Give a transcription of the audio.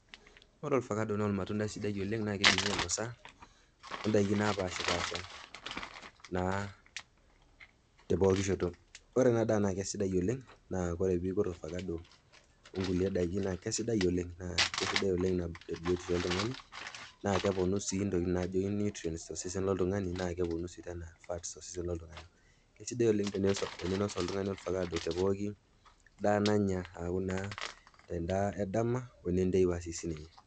Ore ovakado naa olmatundai sidai oleng, naa keidimi ainosa o ndaiki naapaashipaasha naa tepoki shoto. Ore ena daa naa kesidai oleng a ore peikur olvakado okulie daiki naa kesidai oleng, naa kesidai oleng te biotisho oltung'ani naa keponu sii intokin naijo nutrients tolsesen loltung'ani naa keponu sii fats tolsesen loltung'ani. Kesidai oleng teneinosh oltung'ani olvakaado te pooki daa nanya aaku naa te ndaa edama o wenenteipa si sininye.